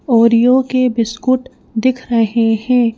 Oreo के biscuit दिख रहे हैं।